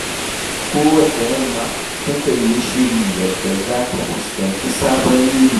Kowacce yamma, takan yi shiri yadda za ta fuskanci sabon yini.